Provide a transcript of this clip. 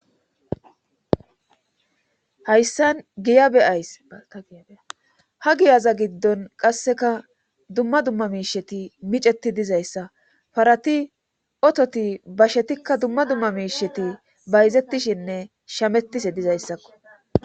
hayssan giya beyays baltagiyaea ha giyaza giddon qasseka dumma dumma miisheti miceti dizayssa parati ototi bashetikka dumma dumma miisheti bayzettishinne shamettise dizayssakko